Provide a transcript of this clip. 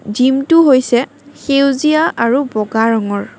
Gym টো হৈছে সেউজীয়া আৰু বগা ৰঙৰ।